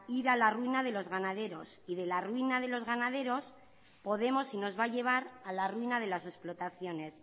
ir a la ruina de los ganaderos y de la ruina de los ganaderos podemos y nos va a llevar a la ruina de las explotaciones